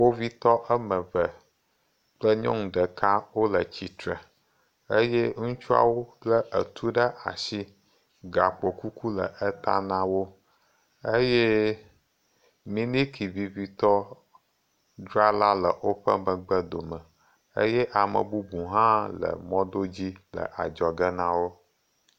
Kpovitɔ woame eve kple nyɔnu ɖeka wole tsitre eye ŋutsuawo le etu ɖe asi eye gakpo kuku le eta na wo eye miniki vivitɔ drala le woƒe megbdome eye ame bubu hã le mɔdodo dzi le adzɔ ge na wo.